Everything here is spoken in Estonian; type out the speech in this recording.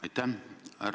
Aitäh!